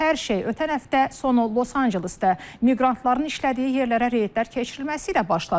Hər şey ötən həftə sonu Los-Ancelesdə miqrantların işlədiyi yerlərə reydlər keçirilməsi ilə başladı.